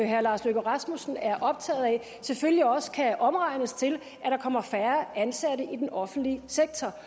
herre lars løkke rasmussen er optaget af selvfølgelig også kan omregnes til at der kommer færre ansatte i den offentlige sektor